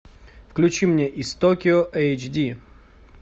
включи мне из токио эйч ди